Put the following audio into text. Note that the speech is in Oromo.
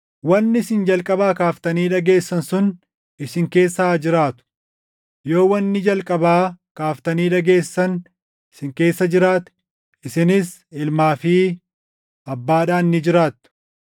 Wanni isin jalqabaa kaaftanii dhageessan sun isin keessa haa jiraatu. Yoo wanni jalqabaa kaaftanii dhageessan isin keessa jiraate, isinis Ilmaa fi Abbaadhaan ni jiraattu.